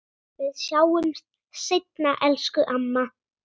Við sjáumst seinna, elsku amma.